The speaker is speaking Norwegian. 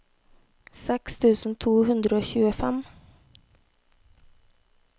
seks tusen to hundre og tjuefem